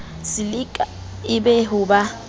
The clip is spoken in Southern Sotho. silika e be ho ba